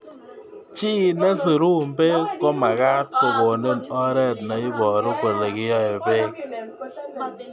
Chi nesirun beek ko makat kokonin oret neiboru kole kinyoi beek